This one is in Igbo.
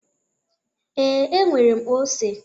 Ee, e nwere m ose.